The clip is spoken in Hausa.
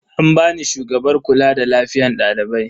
An bani shugabar kula da lafiyan dalibai.